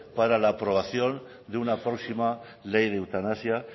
para la aprobación de una próxima ley de eutanasia